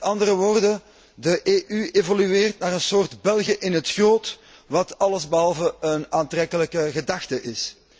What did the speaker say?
Met andere woorden, de EU evolueert naar een soort België in het groot, wat allesbehalve een aantrekkelijke gedachte is.